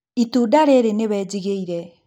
Itunda rĩrĩ nĩwe njigĩire